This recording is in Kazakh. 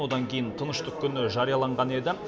одан кейін тыныштық күні жарияланған еді